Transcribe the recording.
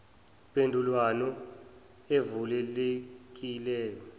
mpendulwano evule lekile